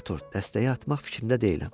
Artur, dəstəyi atmaq fikrində deyiləm.